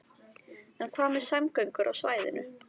En hvað með samgöngur á svæðinu?